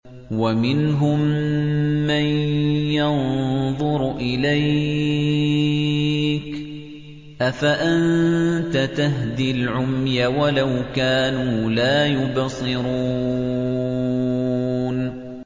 وَمِنْهُم مَّن يَنظُرُ إِلَيْكَ ۚ أَفَأَنتَ تَهْدِي الْعُمْيَ وَلَوْ كَانُوا لَا يُبْصِرُونَ